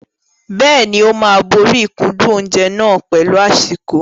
Bẹ́ẹ̀ni, ó máa borí ìkúndùn oúnjẹ náà pẹ̀lú àsìkò.